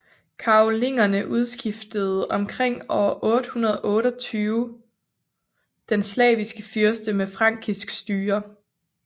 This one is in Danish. Karolingerne udskiftede omkring år 828 den slaviske fyrste med frankisk styre